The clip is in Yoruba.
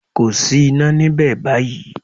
Kò sí iná níbẹ̀ báyìí